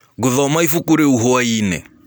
Ngũthoma ĩbũkũ rĩũ hwaĩnĩ.